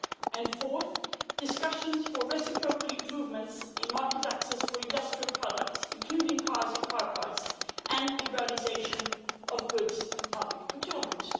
and fourth, discussions for reciprocal improvements in market access for industrial products, including cars and car parts, and liberalisation of goods in public procurement.